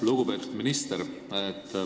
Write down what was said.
Lugupeetud minister!